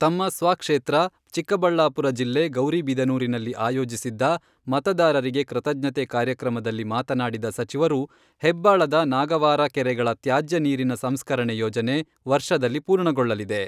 ತಮ್ಮ ಸ್ವಕ್ಷೇತ್ರ ಚಿಕ್ಕಬಳ್ಳಾಪುರ ಜಿಲ್ಲೆ ಗೌರಿಬಿದನೂರಿನಲ್ಲಿ ಆಯೋಜಿಸಿದ್ದ ಮತದಾರರಿಗೆ ಕೃತಜ್ಞತೆ ಕಾರ್ಯಕ್ರಮದಲ್ಲಿ ಮಾತನಾಡಿದ ಸಚಿವರು, ಹೆಬ್ಬಾಳದ ನಾಗವಾರ ಕೆರೆಗಳ ತ್ಯಾಜ್ಯ ನೀರಿನ ಸಂಸ್ಕರಣೆ ಯೋಜನೆ ವರ್ಷದಲ್ಲಿ ಪೂರ್ಣಗೊಳ್ಳಲಿದೆ.